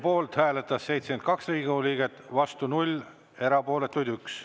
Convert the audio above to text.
Poolt hääletas 72 Riigikogu liiget, vastu 0, erapooletuks jäi 1.